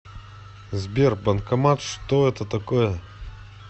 сбер банкомат что это такое